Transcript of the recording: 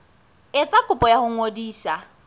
etsa kopo ya ho ngodisa